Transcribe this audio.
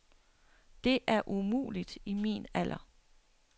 Det er umuligt i min alder.